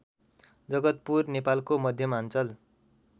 जगतपुर नेपालको मध्यमाञ्चल